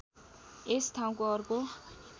यस ठाउँको अर्को